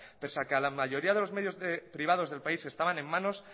pese a que a la mayoría de los medios privados del país estaban en manos